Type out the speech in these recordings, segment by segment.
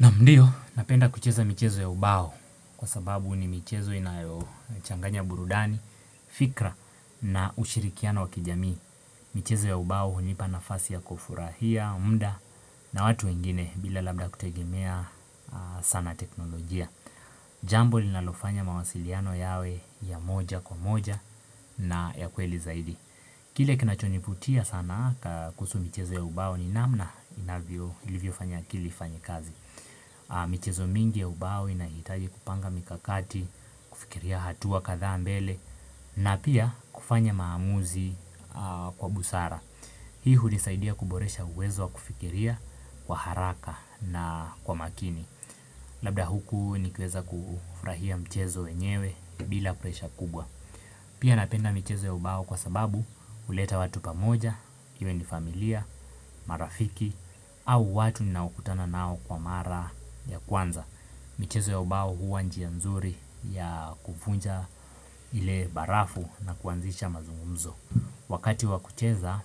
Naam mdiyo napenda kucheza michezo ya ubao kwa sababu ni michezo inayochanganya burudani, fikra na ushirikiano wa kijamii. Michezo ya ubao hunipa nafasi ya kufurahia, mda na watu wengine bila labda kutegemea sana teknolojia. Jambo linalofanya mawasiliano yawe ya moja kwa moja na ya kweli zaidi. Kile kinachonivutia sana kuhusu michezo ya ubao ni namna ilivyo fanya akili ifanye kazi. Michezo mingi ya ubao inahitaji kupanga mikakati, kufikiria hatuwa kadhaa mbele na pia kufanya maamuzi kwa busara Hii hulisaidia kuboresha uwezo wa kufikiria kwa haraka na kwa makini Labda huku nikiweza kufurahia mchezo wenyewe bila presha kubwa Pia napenda michezo ya ubao kwa sababu huleta watu pamoja, iwe ni familia, marafiki, au watu ninaokutana nao kwa mara ya kwanza. Michezo ya ubao huwa njia mzuri ya kufunja ile barafu na kuanzisha mazungumzo. Wakati wa kucheza,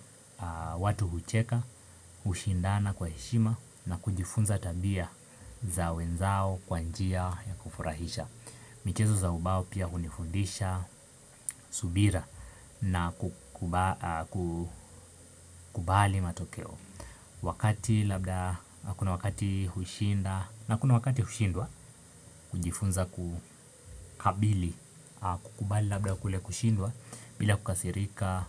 watu hucheka, hushindana kwa heshima na kujifunza tabia za wenzao kwa njia ya kufurahisha. Michezo za ubao pia hunifundisha subira na kukubali matokeo Wakati labda kuna wakati hushinda na kuna wakati hushindwa kujifunza kukabili kukubali labda kule kushindwa bila kukasirika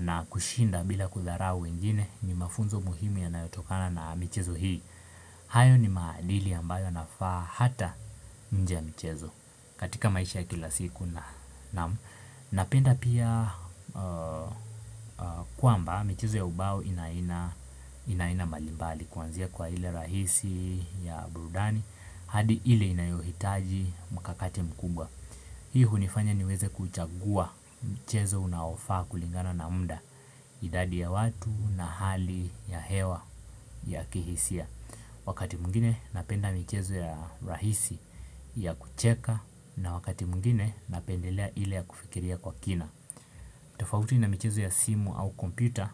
na kushinda bila kudharau wengine ni mafunzo muhimu yanayotokana na michezo hii hayo ni maadili ambayo yanafaa hata nje ya michezo katika maisha ya kila siku naam. Napenda pia kwamba michezo ya ubao ina aina mbalimbali kuanzia kwa hile rahisi ya burudani hadi hile inayohitaji mkakate mkubwa. Hii hunifanya niweze kuchagua mchezo unaofaa kulingana na mda idadi ya watu na hali ya hewa ya kihisia. Wakati mwingine napenda michezo ya rahisi ya kucheka na wakati mwingine napendelea ile ya kufikiria kwa kina. Tofauti na michezo ya simu au kompyuta,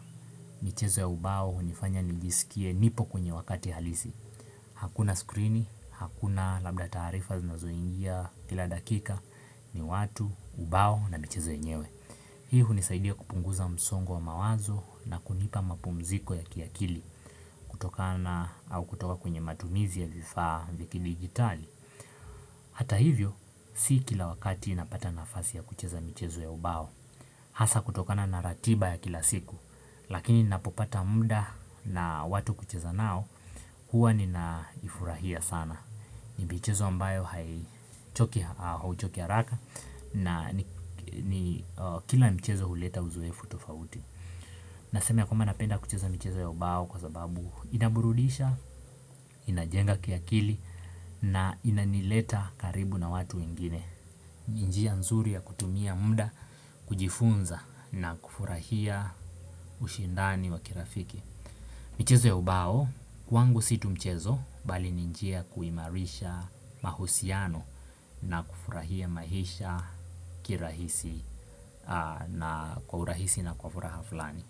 michezo ya ubao hunifanya nijisikie nipo kwenye wakati halisi. Hakuna screen, hakuna labda taarifa zinazo ingia kila dakika ni watu, ubao na michezo yenyewe. Hii hunisaidia kupunguza msongo wa mawazo na kunipa mapumziko ya kiakili kutokana au kutoka kwenye matumizi ya vifaa vyakidigitali. Hata hivyo, si kila wakati napata nafasi ya kucheza michezo ya ubao. Hasa kutokana na ratiba ya kila siku, lakini napopata muda na watu kucheza nao, huwa ninafurahia sana. Ni mchezo ambayo hauchoki haraka na kila mchezo huleta uzoefu tofauti. Naseme ya kwamba napenda kucheza michezo ya ubao kwa sababu inaburudisha, inajenga kiakili na inanileta karibu na watu wengine. Njia nzuri ya kutumia muda kujifunza na kufurahia ushindani wa kirafiki. Michezo ya ubao kwangu si tu mchezo bali ni njia ya kuimarisha mahusiano na kufurahia maisha kwa urahisi na kwa furaha fulani.